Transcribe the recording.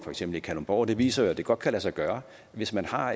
for eksempel kalundborg viser at det godt kan lade sig gøre og hvis man har